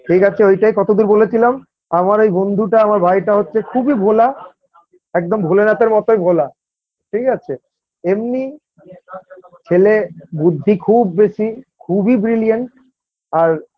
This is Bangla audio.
ঠিক আছে ওইটাই কতদূর বলেছিলাম আমার এই বন্ধুটা আমার ভাইটা হচ্ছে খুবই ভোলা একদম ভোলেনাথের মতোই ভোলা ঠিক আছে এমনি ছেলে বুদ্ধি খুব বেশি খুবই Brilliant আর